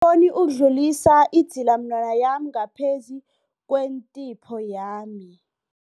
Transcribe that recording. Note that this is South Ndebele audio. oni ukudlulisa idzilamunwana yami ngaphezu kwentipho yami.